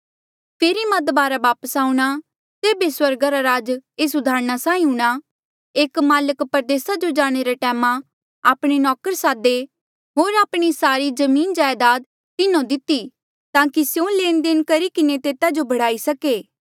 फेरी मां दबारा वापस आऊंणा तेबे स्वर्गा रा राज एस उदाहरणा साहीं हूंणा एक माल्क परदेसा जो जाणे रे टैमा आपणे नौकर सादे होर आपणी सारी जमीन जायदाद तिन्हो दिती ताकि स्यों लेण देण करी किन्हें तेता जो बढ़ाई सके